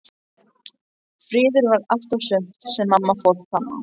Friður var allt og sumt sem mamma fór fram á.